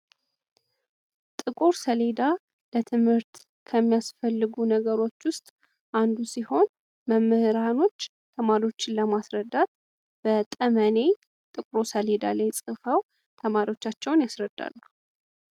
ጥቁር ሰሌዳ ለትምህርት ከሚያስፈልጉ ነገሮች ውስጥ አንዱ ሲሆን መምህራኖች ተማሪዎችን ለማስረዳት በጠመኔ ጥቁሩ ሰሌዳ ላይ ጽፈው ተማሪዎቻቸውን ያስረዳሉ።